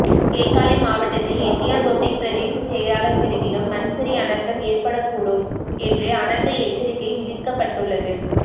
கேகாலை மாவட்டத்தில் எட்டியாந்தோட்டை பிரதேச செயலாளர் பிரிவிலும் மண்சரி அனர்த்தம் ஏற்படக்கூடும் என்று அனர்த்த எச்சரிக்கை விடுக்கப்பட்டுள்ளது